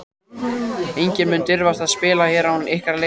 Enginn mun dirfast að spila hér án ykkar leyfis.